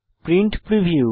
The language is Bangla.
print preview